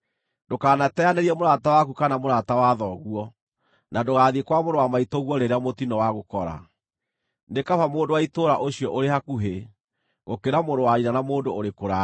Ndũkanateanĩrie mũrata waku kana mũrata wa thoguo, na ndũgathiĩ kwa mũrũ wa maitũguo rĩrĩa mũtino wagũkora: nĩ kaba mũndũ wa itũũra ũcio ũrĩ hakuhĩ, gũkĩra mũrũ wa nyina na mũndũ ũrĩ kũraya.